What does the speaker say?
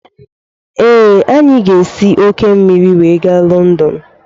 Ee, anyị ga-esi òkè osimiri wee gaa Lọndọn.